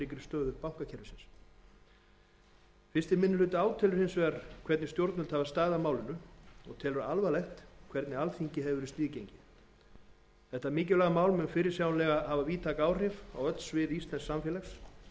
stöðu bankakerfisins fyrsti minni hluti átelur hins vegar hvernig stjórnvöld hafa staðið að málinu og telur alvarlegt hvernig alþingi hefur verið sniðgengið þetta mikilvæga mál mun fyrirsjáanlega hafa víðtæk áhrif á öll svið íslensks samfélags